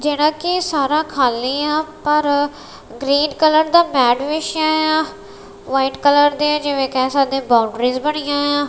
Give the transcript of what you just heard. ਜਿਹੜਾ ਕਿ ਸਾਰਾ ਖਾਲੀ ਆ ਪਰ ਗ੍ਰੀਨ ਕਲਰ ਦਾ ਮੈਟ ਵਿਸ਼ਾ ਆ ਵਾਈਟ ਕਲਰ ਦੇ ਜਿਵੇਂ ਕਹਿ ਸਕਦੇ ਬਾਉਂਡਰੀਜ ਬਣੀਆ ਆ।